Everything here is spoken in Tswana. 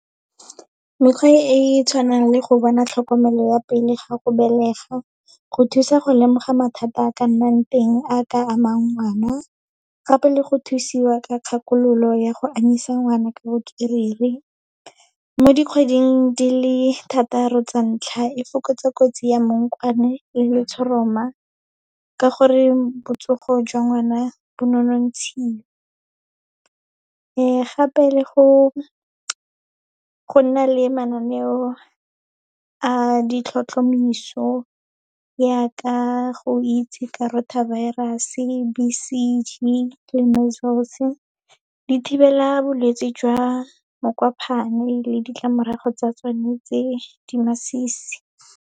Mekgwa e e tshwanang le go bona tlhokomelo ya pele ga go belega, go thusa go lemoga mathata a ka nnang teng a ka amang ngwana, gape le go thusiwa ka kgakololo ya go anyisa ngwana ka botswerere. Mo dikgweding di le thataro tsa ntlha, e fokotsa kotsi ya mmokwane le letshoroma, ka gore botsogo jwa ngwana bo nonontshile. Gape, le go nna le mananeo a ditlhotlhomiso yaaka go itse ka rotavirus, B_C_G le measels, di thibela bolwetse jwa le ditlamorago tsa tsone tse di masisi.